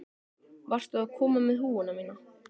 Varstu að koma með húfuna mína?